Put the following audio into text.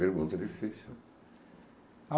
Pergunta difícil.